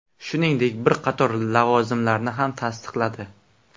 Shuningdek, bir qator lavozimlarni ham tasdiqladi.